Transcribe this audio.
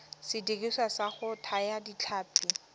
sediriswa sa go thaya ditlhapi